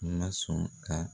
N man sɔn ka